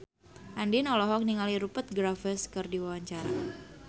Andien olohok ningali Rupert Graves keur diwawancara